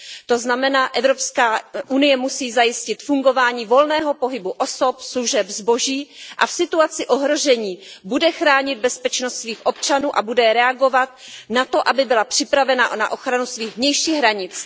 To znamená, že Evropská unie musí zajistit fungování volného pohybu osob, služeb, zboží a v situaci ohrožení bude chránit bezpečnost svých občanů a bude reagovat na to, aby byla připravena na ochranu svých vnějších hranic.